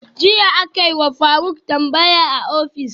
Jiya akayiwa faruk tambaya a office